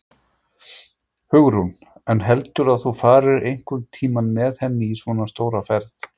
Hugrún: En heldurðu að þú farir einhvern tímann með henni í svona stóra ferð?